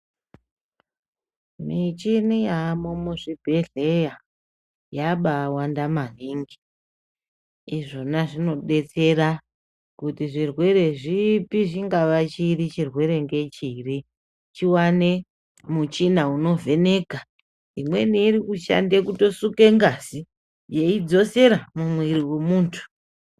Michini yaamumuzvibhedhleya yabaawanda maningi izvona zvinodetsera kuti zvirwere zvipi zvingava chiri chirwere ngechiri chiwane muchina unovheneka imweni iri kushande kutosuke ngazi yeidzosera mumwiri wemuntu.